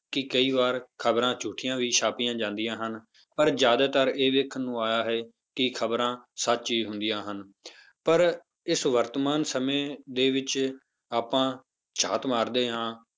ਕਿ ਕਈ ਵਾਰ ਖ਼ਬਰਾਂ ਝੂਠੀਆਂ ਵੀ ਛਾਪੀਆਂ ਜਾਂਦੀਆਂ ਹਨ, ਪਰ ਜ਼ਿਆਦਾਤਰ ਇਹ ਦੇਖਣ ਨੂੰ ਆਇਆ ਹੈ ਕਿ ਖ਼ਬਰਾਂ ਸੱਚ ਹੀ ਹੁੰਦੀਆਂ ਹਨ ਪਰ ਇਸ ਵਰਤਮਾਨ ਸਮੇਂ ਦੇ ਵਿੱਚ ਆਪਾਂ ਝਾਤ ਮਾਰਦੇ ਹਾਂ,